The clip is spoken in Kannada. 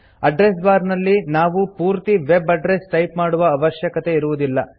ಅಡ್ರೆಸ್ ಬಾರ್ ನಲ್ಲಿ ನಾವು ಪೂರ್ತಿ ವೆಬ್ ಅಡ್ರಸ್ ಟೈಪ್ ಮಾಡುವ ಅವಶ್ಯಕತೆ ಇರುವುದಿಲ್ಲ